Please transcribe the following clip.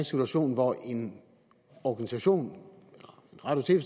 situation hvor en organisation en radio